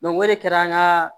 o de kɛra an ka